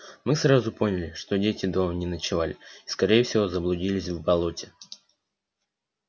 мы сразу поняли что дети дома не ночевали и скорее всего заблудились в болоте